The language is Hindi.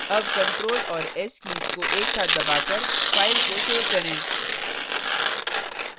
अब control और s कीज को एक साथ दबाकर file को सेव करें